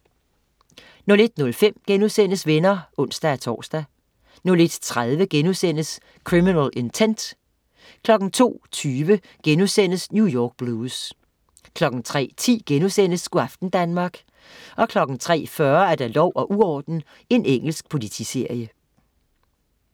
01.05 Venner* (ons-tors) 01.30 Criminal Intent* 02.20 New York Blues* 03.10 Go' aften Danmark* 03.40 Lov og uorden. Engelsk politiserie